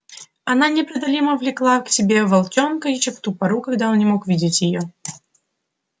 она непреодолимо влекла к себе волчонка ещё в ту пору когда он не мог видеть её